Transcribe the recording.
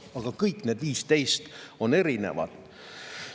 Aga kõik need 15 on erinevad.